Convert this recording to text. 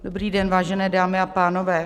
Dobrý den, vážené dámy a pánové.